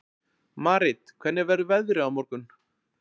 Marit, hvernig verður veðrið á morgun?